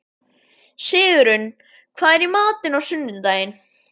Sigurunn, hvað er í matinn á sunnudaginn?